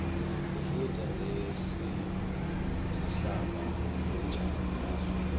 kufundza ngesimo semhlaba ngebunjalo baso